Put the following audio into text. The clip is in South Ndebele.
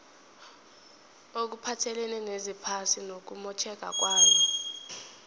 okuphathelene nezephasi nokumotjheka kwalo